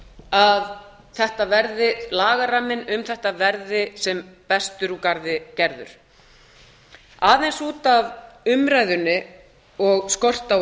að lagaramminn um þetta verði sem best úr garði gerður aðeins út af umræðunni og skorti á